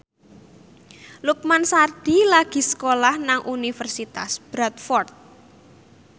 Lukman Sardi lagi sekolah nang Universitas Bradford